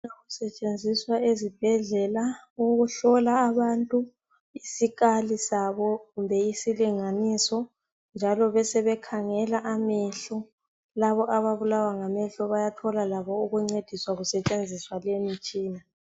kusetshenziswa ezibhedlela ukuhlola abantu isikali sabo kumbe isilinganiso njalo besebekhangela amehlo labo ababulawangamehlo bayathola labo ukuncediswa kusetshenziswa le mitshina